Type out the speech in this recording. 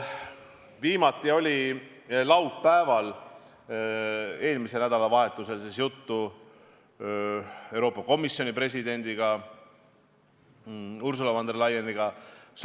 Viimati oli mul laupäeval, st eelmisel nädalavahetusel samuti Rail Balticust juttu Euroopa Komisjoni presidendiga, Ursula von der Leyeniga.